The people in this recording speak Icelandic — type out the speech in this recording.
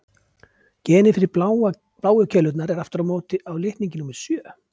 Genið fyrir bláu keilurnar er aftur á móti á litningi númer sjö.